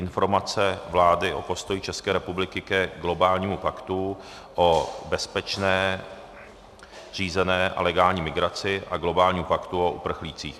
Informace vlády o postoji České republiky ke globálnímu paktu o bezpečné, řízené a legální migraci a globálnímu paktu o uprchlících